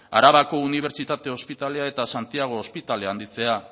arabako unibertsitate ospitalea eta santiago ospitalea handitzea